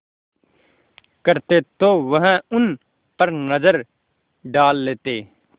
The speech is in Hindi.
करते तो वह उन पर नज़र डाल लेते